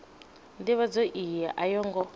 ndivhadzo iyi a yo ngo